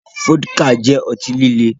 Fọ́díkà jẹ́ ọtí líle